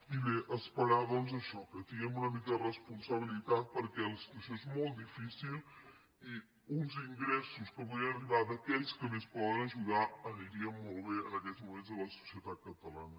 i bé esperar doncs això que tinguem una mica de responsabilitat perquè la situació és molt difícil i uns ingressos que podien arribar d’aquells que més poden ajudar anirien molt bé en aquests moments a la societat catalana